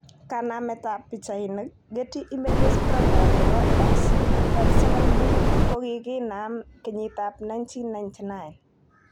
Kanamet tab pichainik, Getty Images Program neboX_37B kokinam kenyitab1999.